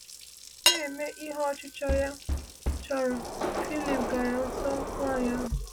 Na-eme ihe ọchịchọ ya chọrọ, Phlip gara nso nwanyị ahụ.